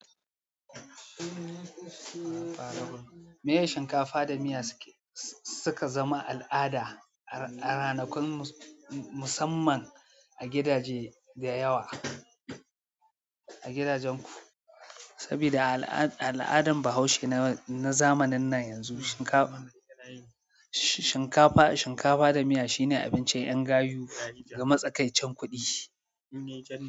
Miyar shinkafa da miya suka zama al'ada a ranakun musamman a gidaje da yawa, a gidajenku. Sabida a aladan bahaushe na zamanin nan yanzu shinkafa da miya shine abincin ƴan gayu na matsakaicin kuɗi.